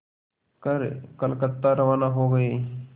कर कलकत्ता रवाना हो गए